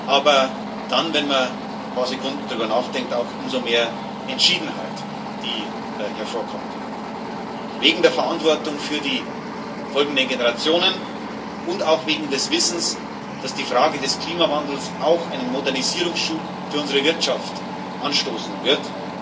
Aber dann, wenn man ein paar Sekunden darüber nachdenkt, auch mit umso mehr Entschiedenheit, die hervorkommt wegen der Verantwortung für die folgenden Generationen und auch wegen des Wissens, dass die Frage des Klimawandels auch einen Modernisierungsschub für unsere Wirtschaft anstoßen wird.